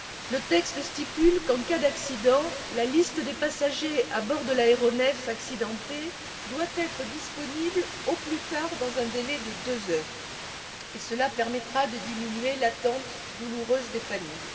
Le texte stipule qu'en cas d'accident, la liste des passagers à bord de l'aéronef accidenté doit être disponible au plus tard dans un délai de deux heures, ce qui permettra de diminuer l'attente douloureuse des familles.